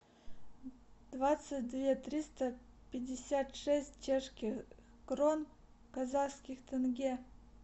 двадцать две триста пятьдесят шесть чешских крон в казахских тенге